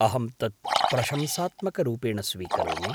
अहं तत् प्रशंसात्मकरूपेण स्वीकरोमि।